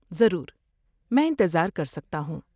ضرور۔ میں انتظار کر سکتا ہوں۔